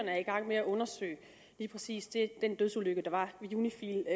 er i gang med at undersøge lige præcis den dødsulykke der var ved unifil